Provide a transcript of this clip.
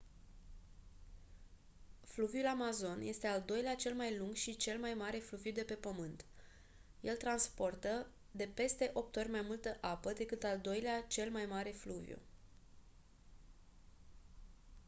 fluviul amazon este al doilea cel mai lung și cel mai mare fluviu de pe pământ el transportă de peste 8 ori mai multă apă decât al doilea cel mai mare fluviu